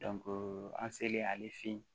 an selen ale fe yen